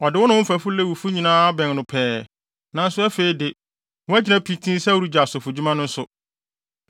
Ɔde wo ne wo mfɛfo Lewifo nyinaa abɛn no pɛɛ, nanso afei de, woagyina pintinn sɛ woregye asɔfodwuma no nso.